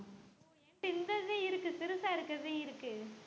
இந்த இது இருக்கு சிறுசா இருக்கிறதும் இருக்கு